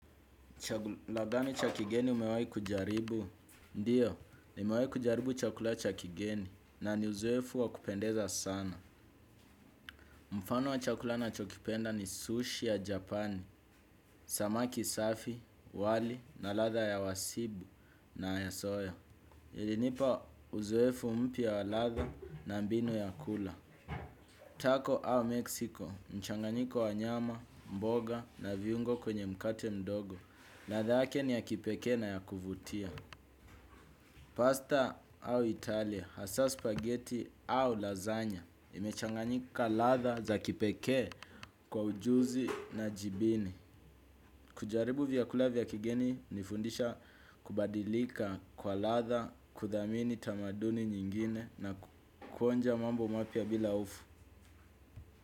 Chagula gani cha kigeni umewai kujaribu? Ndiyo, nimewai kujaribu chakula cha kigeni na ni uzoefu wa kupendeza sana. Mfano wa chakula nachokipenda ni sushi ya japani, samaki safi, wali na ladha ya wasibu na ya soya. Ilinipa uzoefu mpya wa ladha na mbinu ya kula. Taco au Mexico, mchanganyiko wa nyama, mboga na viungo kwenye mkate mdogo ladha yake ni ya kipekee na ya kuvutia. Pasta au italia, hasaa spaghetti au lazanya, imechanganyika ladha za kipekee kwa ujuzi na jibini. Kujaribu vyakula vya kigeni unifundisha kubadilika kwa ladha, kuthamini tamaduni nyingine na kuonja mambo mapya bila hofu.